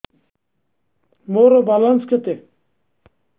ମୋର ବାଲାନ୍ସ କେତେ